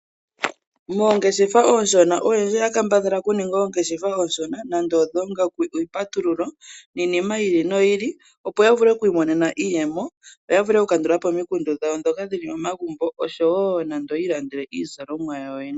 Mongeshefa oshoona oyendji oya kambadhala okuningwa ongeshefa oshona nando odhongaku ,iipatululo niinima yi ili noyi ili opo yavule okwi monena iiyemo yavule oku kandulapo omikundu dhawo dhoka dhili momagumbo , noshowo yiilandele izalomwa yawo yene